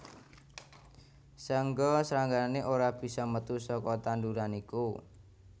Saéngga sranggané ora bisa metu saka tanduran iku